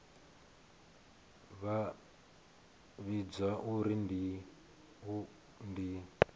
vha vhidzwa u pfi ndi